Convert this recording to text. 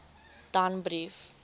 danbrief